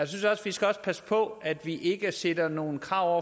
synes vi skal passe på at vi ikke stiller nogle krav